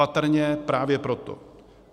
Patrně právě proto.